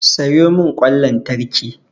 Sayo mun kwan lantraki